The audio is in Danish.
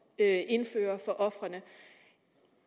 at indføre for ofrene